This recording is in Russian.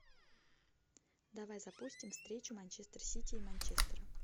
давай запустим встречу манчестер сити и манчестера